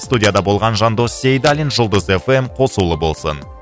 студияда болған жандос сейдалин жұлдыз эф эм қосулы болсын